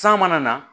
San mana na